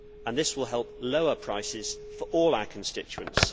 This will help lower prices for all our constituents